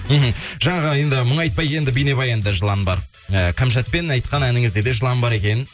мхм жаңа ғана енді мұңайтпа енді бейнабаянда жылан бар і кәмшатпен айтқан әніңізде де жылан бар екен